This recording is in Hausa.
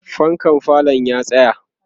fankan falo ya tsaya